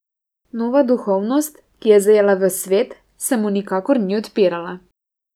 Nova duhovnost, ki je zajela ves svet, se mu nikakor ni odpirala.